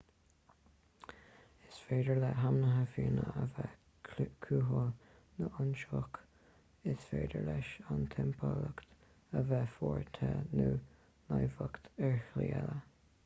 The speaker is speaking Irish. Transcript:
is féidir le hainmhithe fiáine a bheith cúthail nó ionsaitheach is féidir leis an timpeallacht a bheith fuar te nó naimhdeach ar shlí eile